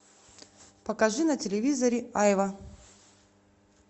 покажи на телевизоре айва